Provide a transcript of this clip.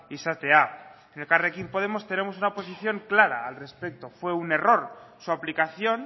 izatea en elkarrekin podemos tenemos una oposición clara al respecto fue un error su aplicación